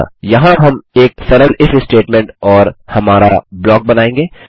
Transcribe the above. अतः यहाँ हम एक सरल इफ स्टेटमेंट और हमारा ब्लॉक बनायेंगे